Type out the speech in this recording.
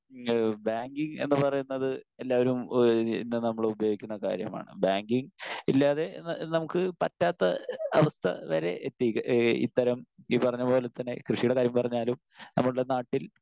Speaker 1 banking എന്നു പറയുന്നത് എല്ലാവരും ഇന്ന് നമ്മൾ ഉപയോഗിക്കുന്ന കാര്യമാണ്. ബാങ്കിംഗ് ഇല്ലാതെ ന നമുക്ക് പറ്റാത്ത അവസ്ഥ വരെ എത്തിയിരിക്കുന്നു. ഇത്തരം ഈ പറഞ്ഞ പോലെ തന്നെ കൃഷിയുടെ കാര്യം പറഞ്ഞാലും നമ്മുടെ നാട്ടിൽ